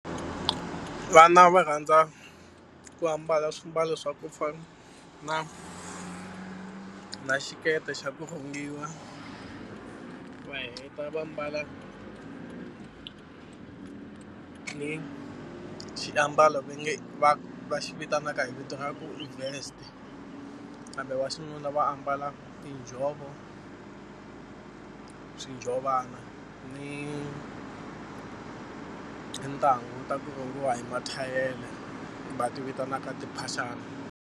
Vana va rhandza ku ambala swimbalo swa ku fana na xikete xa ku rhungiwa va heta va mbala xiambalo ve nge va va xi vitanaka hi vito ra ku i vest kambe wa xinuna va ambala tinjhovo, swinjhovana ni tintangu ta ku rhangiwa hi mathayele va ti vitanaka timphaxani.